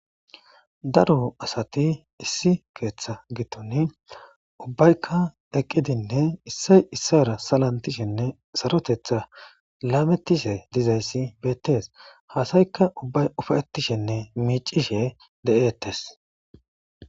Daro asati issi keeththa gitun ubbaykka eqqidinne issay issara salantishenne sarotetha laamettishe dizayssi beettes haasayka ubbay ufaetishenne miicishe de'eettes.